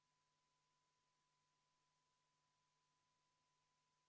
Panen hääletusele ...